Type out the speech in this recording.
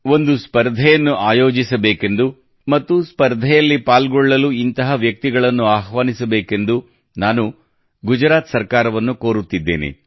ಒಂದು ಸ್ಪರ್ಧೆಯನ್ನು ಆಯೋಜಿಸಬೇಕೆಂದೂ ಮತ್ತು ಸ್ಪರ್ಧೆಯಲ್ಲಿ ಪಾಲ್ಗೊಳ್ಳಬೇಕೆಂದು ಇಂತಹ ವ್ಯಕ್ತಿಗಳನ್ನು ಆಹ್ವಾನಿಸಬೇಕೆಂದೂ ನಾನು ಗುಜರಾತ್ ಸರ್ಕಾರವನ್ನು ಕೋರುತ್ತಿದ್ದೇನೆ